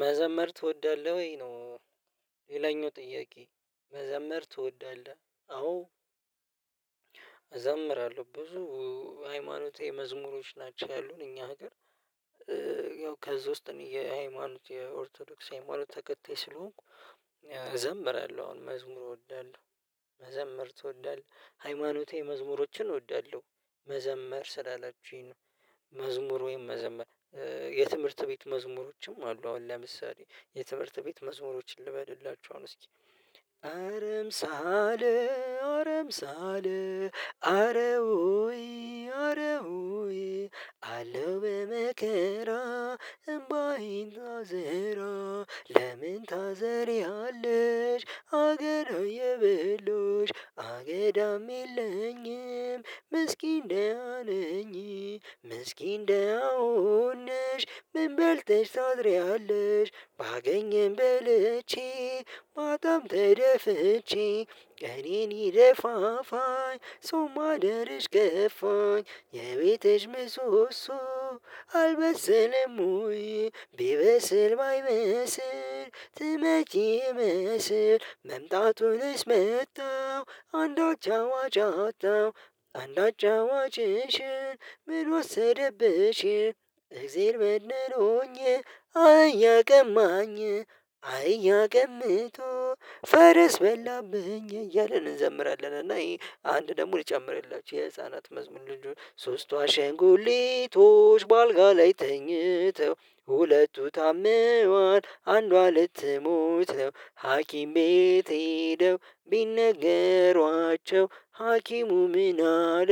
መዘመር ትወዳለህ ወይ ነው ሌላኛው ጥያቄ። መዘመር ትወዳለህ? አዎ፣ እዘምራለሁ ብዙ ሃይማኖት መዝሙሮች ናቸው ያሉት እኛ ሀገር ያው ከዛ ውስጥ የሃይማኖት የኦርቶዶክስ ሃይማኖት ተከታይ ስለሆንኩ እዘምራለሁ አሁን መዝሙር እወዳለሁ መዘምር ትወዳለህ ሃይማኖቴ መዝሙሮችን እወዳለሁ መዘመር ስላላችሁኝ ነው መዝሙር ወይም መዘመር የትምህርት ቤት መዝሙሮችም አሉ አሁን ለምሳሌ የትምርት ቤት መዝሙሮችን ልበልላችሁ አሁን እስኪ አረምሳሌ አረምሳሌ አረ ሆይ አረ ሆይ አለው በመከራ እምባዬን አዘራ ለምን ታዘሪሃለሽ አገዶ እየበሎሽ አገዳም የለኝም ደህና ነኝ ምስኪን ደህና ሆነሽ ምን በልተሽ ታድሪያለሽ ባገኝም በልቼ በጣም ተደፍቼ እኔን ይደፋፋኝ ሰውማ ደረሽ ገፋኝ የቤትሽ ምሶሶ አልበሰለም ወይ ቢበሰል ባይመስል ትመጪ ስር መምጣቱንስ መጣው አንድ አጫዋች አጣው አንድ አጫዋችሽ ምን ወሰደብሽ እግዜር በድሎኝ አህያ ቀማኝ አህያ ቀምቶ ፈረስ በላብኝ እያለን እንዘምራለን እና አንድ ደግሞ ልጨምርላችሁ የህፃናት መዝሙር ልጁ ሶስቷ ሸንጉሊቶች በአልጋ ላይ ተኝተው ሁለቱ ታምረዋል አንዷ ልትሞት ነው ሀኪም ቤት ሄደው ቢነገሯቸው ሀኪሙ ምን አለ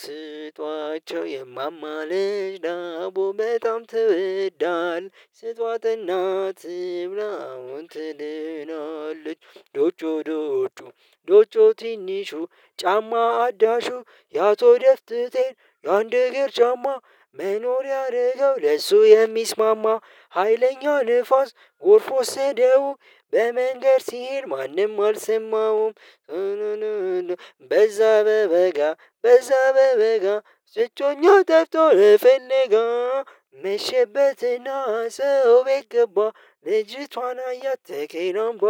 ስጧቸው የማማ ልጅ ዳቦ በጣም ትወዳለች ስጧት እናት ትብላ አሁን ትድናለች ዶጮ ዶጮ ትንሹ ጫማ አዳሹ የአቶ ደፍትቴ የአንድ እግር ጫማ መኖር ያደረገው ለእሱ የሚስማማ ሀይለኛ ንፋስ ጎርፍ ወሰደው በመንገር ሲል ማንም አልሰማውም በዛ በበጋ በዛ በበጋ ስቶኛው ደፍቶ ልፈልጋ መሽበትና ሰው ቤት ገባ ልጅቷን አያት ተከነባ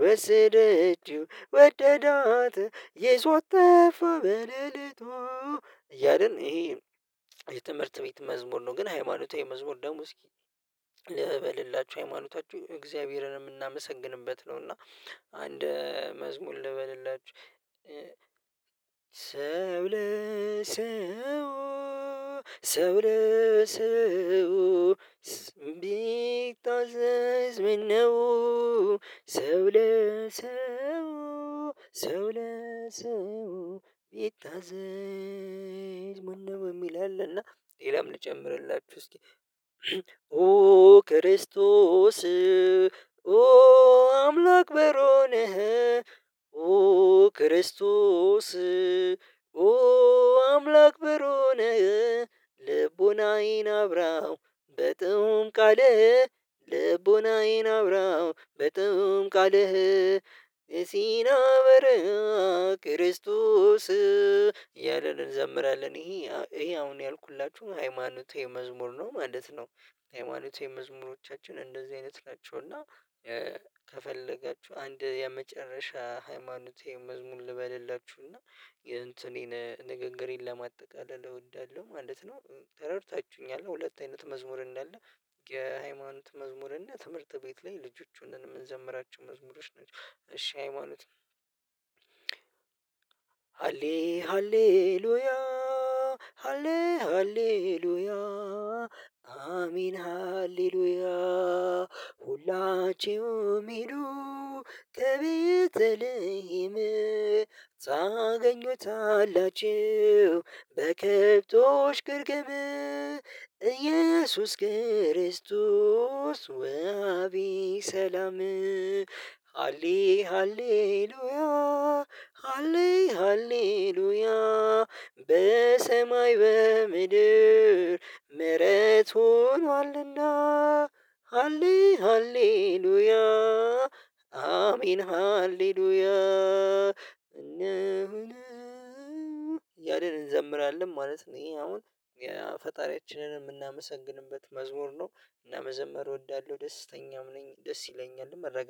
ወሰደችው ወደዳት ይዞት ጠፈ በለሊቱ እያልን ይሄ የትምህርት ቤት መዝሙር ነው ግን ሃይማኖታዊ መዝሙር ደሙ እስኪ ልበልላችሁ ሃይማኖታችሁ እግዚአብሔርን የምናመሰግንበት ነው እና አንድ መዝሙር ልበልላችሁ ስብል ለሰው ሰው ለሰው ቢታዘዝ ምን ነው ሰው ለሰው ለሰው ቢታዘዝምምን ነው የሚል አለና ሌላም ልጨምርላችሁ እስኪ ኦ ኦ ኦ ክርስቶስ ኦ አምላክ በሮን ኦ ክርስቶስ አምላክ ብሩን ልቡን አይን አብራው በጥሩም ቃል ቃልህ ልቡን አይን አብራው በጥሩም ቃልህ ሲና በረሃ ክርስቶስ እያለን እንዘምራለን ይሄ አሁን ያልኩላችሁ ሃይማኖት የመዝሙር ነው ማለት ነው ሃይማኖት የመዝሙሮቻችን እንደዚህ አይነት ናቸው እና አንድ የመጨረሻ ሃይማኖቴ መዝሙር ልበልላችሁና የእንትኔን ንግግሬን ለማጠቃለል እወዳለሁ ማለት ነው ተረድታችሁኛል ሁለት አይነት መዝሙር እንዳለ የሃይማኖት መዝሙር እና ትምህርት ቤት ላይ ልጆቹን የምንዘምራቸው መዝሙሮች ናቸው እሺ ሃይማኖት ነው ሃሌ ሃሌሉያ ሃሌ ሃሌሉያ አሜን ሃሌሉያ ሁላችሁም ሚሉ ከቤተልሄም ታገኙታላችሁ በከብቶች ግርግም እየሱስ ክርስቶስ ወአቢ ሰላም ሃሌ ሃሌ ሉያ ሃሌሉያ በሰማይ በምድር ምህረት ሆኗልና ሃሌ ሃሌሉያ አሜን ሃሌሉያ እንደምን እንዘምራለን ማለት ነው ይሄ አሁን ፈጣሪያችንን የምናመሰግንበት መዝሙር ነው እና መዘመር እወዳለሁ ደስተኛም ነኝ ደስ ይለኛል መረጋጋት